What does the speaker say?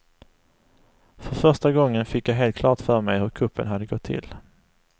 För första gången fick jag helt klart för mig hur kuppen hade gått till.